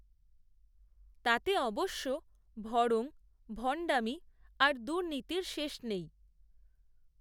তাতে অবশ্য ভড়ং, ভণ্ডামি, আর দুর্নীতির শেষ নেই